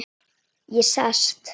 Ég sest.